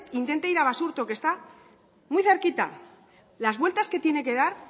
intente ir a basurto que está muy cerquita las vueltas que tiene que dar